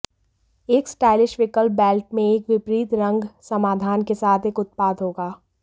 एक स्टाइलिश विकल्प बेल्ट में एक विपरीत रंग समाधान के साथ एक उत्पाद होगा